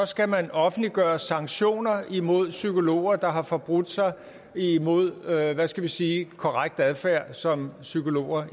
skal offentliggøres sanktioner imod psykologer der har forbrudt sig imod hvad hvad skal vi sige korrekt adfærd som psykolog